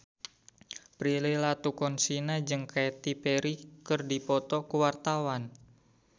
Prilly Latuconsina jeung Katy Perry keur dipoto ku wartawan